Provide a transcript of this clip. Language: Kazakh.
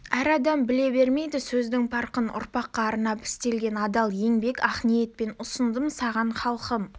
әр адам біле бермейді сөздің парқын ұрпаққа арнап істелген адал еңбек ақ ниетпен ұсындым саған халқым